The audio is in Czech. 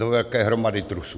do velké hromady trusu.